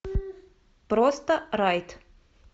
просто райт